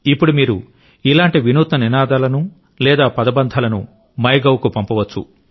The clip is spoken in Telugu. ఇప్పుడు మీరు ఇలాంటి వినూత్న నినాదాలను లేదా పదబంధాలను మైగవ్కు పంపవచ్చు